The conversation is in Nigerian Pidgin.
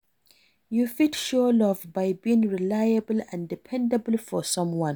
You fit show love by being reliable and dependable for someone.